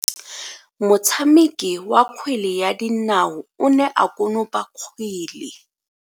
Motshameki wa kgwele ya dinao o ne a konopa kgwele.